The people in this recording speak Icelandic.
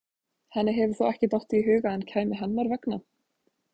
Henni hefur þó ekki dottið í hug að hann kæmi hennar vegna?